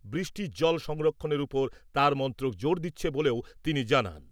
বৃষ্টির জল সংরক্ষণের উপর তাঁর মন্ত্রক জোর দিচ্ছে বলেও তিনি জানান ।